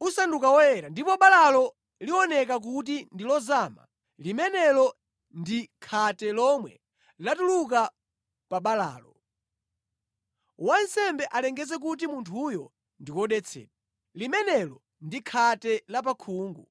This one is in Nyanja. usanduka woyera, ndipo balalo lioneka kuti ndi lozama, limenelo ndi khate lomwe latuluka pa balalo. Wansembe alengeze kuti munthuyo ndi wodetsedwa. Limenelo ndi khate la pa khungu.